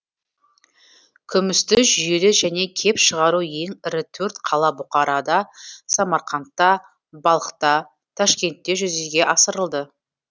күмісті жүйелі және кеп шығару ең ірі төрт қала бұхарада самарқандта балхта ташкентте жүзеге асырылды